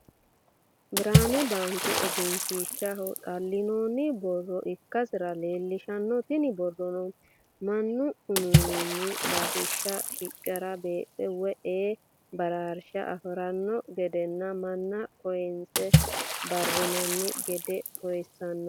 Birani baanke eggenshishaho xalinonni borro ikkasr leelishanno, tini borronno manu uuuinanni bararishira shiqr beeqe woyi e'e bararisha afiranno gedenna mana koyinse bararanni gede kooyisanno